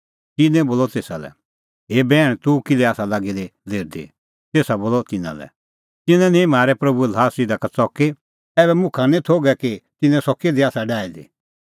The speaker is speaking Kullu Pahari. तिन्नैं बोलअ तेसा लै हे बैहण तूह किल्है आसा लागी दी लेरदी तेसा बोलअ तिन्नां लै तिन्नैं निंईं म्हारै प्रभूए ल्हास इधा का च़की ऐबै मुखा निं थोघै कि तिन्नैं सह किधी आसा डाही दी